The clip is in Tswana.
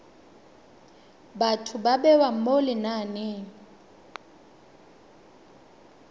batho ba bewa mo lenaneng